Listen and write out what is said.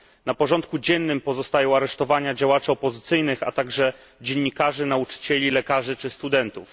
Na porządku dziennym pozostają aresztowania działaczy opozycyjnych, a także dziennikarzy, nauczycieli, lekarzy czy studentów.